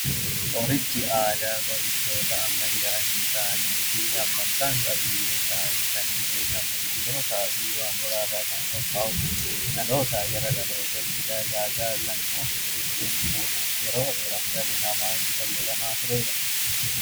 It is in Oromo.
Qorichi aadaa qoricha ammayyaa hin taane kan qabiyyee isaa biqilootaa fi waan biraa irraa qophaa'u yeroo dhalli namaa itti fayyadamaa dhufedha.